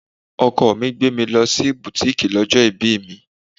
Ọkọ mi gbé mi lọ sí butiiki lọ́jọ́ ibí mi.